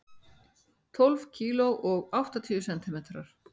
Tólf kíló og áttatíu sentimetrar.